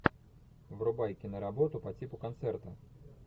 врубай киноработу по типу концерта